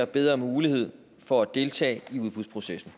bedre mulighed for at deltage i udbudsprocessen